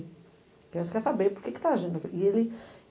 A criança quer saber porque que está agindo aquilo. E ele